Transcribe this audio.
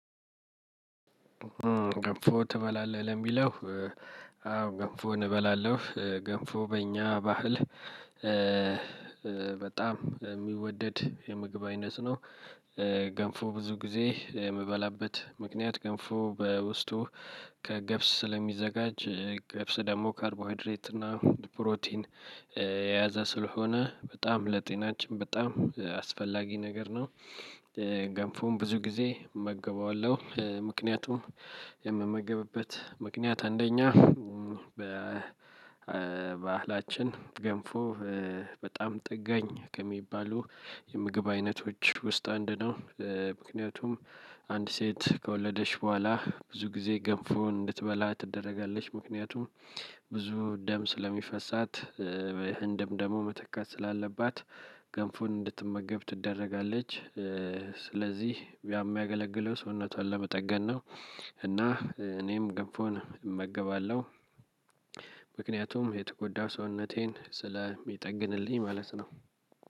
ገንፎ ትበላለህ? ለሚለው፤ አዎ ገንፎን እበላለሁ። ገንፎ በእኛ ባህል በጣም የሚወደድ የምግብ አይነት ነው። ገንፎ ብዙ ጊዜ የምበላበት ምክንያት ገንፎ በውስጡ ከገብስ ስለሚዘጋጅ ገብስ ደግሞ ካርቦሃድሬት እና ፕሮቲን የያዘ ስለሆነ በጣም ለጤናችን በጣም አስፈላጊ ነገር ነው። ገንፎን ብዙ ጊዜ እመገበዋለሁ። ምክንያቱም የምመገብበት ምክንያት አንደኛ በባህላችን ገንፎ በጣም ጠጋኝ ከሚባሉ የምግብ አይነቶች ውስጥ አንዱ ነው። ምክንያቱም አንድ ሴት ከወለደች በኋላ ብዙ ጊዜ ገንፎን እንድትበላ ትደረጋለች። ምክንያቱም ብዙ ደም ስለሚፈሳት፤ ይህን ደም ደግሞ መተካት ስላለባት ገንፎን እንድትመገብ ትደረጋለች። ስለዚህ ያ የሚያገለግለው ሰውነቷን ለመጠገን ነው። እና እኔም ገንፎን እመገባለሁ። ምክንያቱም የተጎዳ ሰውነቴን ስለሚጠግንልኝ ማለት ነው።